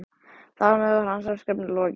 Þar með var hans verkefni lokið.